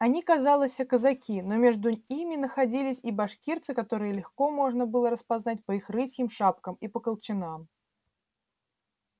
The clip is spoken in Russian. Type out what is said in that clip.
они казалося казаки но между ими находились и башкирцы которых легко можно было распознать по их рысьим шапкам и по колчанам